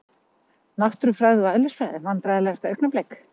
Náttúrufræði og eðlisfræði Vandræðalegasta augnablik?